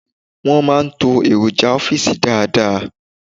Won máa ń to èròjà ọ́fìsì dáadáa